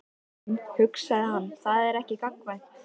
En, hugsaði hann, það er ekki gagnkvæmt.